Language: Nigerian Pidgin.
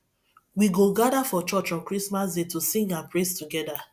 we go gather for church on christmas day to sing and praise together